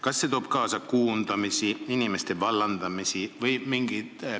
Kas see toob kaasa koondamisi, inimeste vallandamisi?